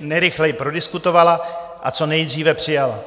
nejrychleji prodiskutovala a co nejdříve přijala.